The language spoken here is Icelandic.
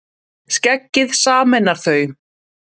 Skeggið sameinar þau